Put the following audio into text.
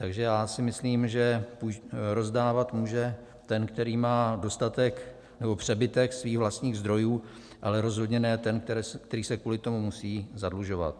Takže já si myslím, že rozdávat může ten, který má dostatek nebo přebytek svých vlastních zdrojů, ale rozhodně ne ten, který se kvůli tomu musí zadlužovat.